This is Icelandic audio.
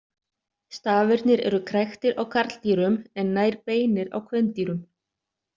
Stafirnir eru kræktir á karldýrum en nær beinir á kvendýrum.